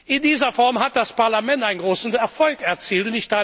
In dieser Form hat das Parlament einen großen Erfolg erzielt.